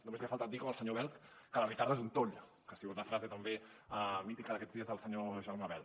només li ha faltat dir com el senyor bel que la ricarda és un toll que ha sigut la frase també mítica d’aquests dies del senyor germà bel